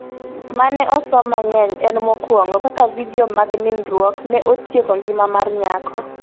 mane osom mangeny en mokuongo ,Kaka vidio mag nindruok ne otieko ngima mar nyako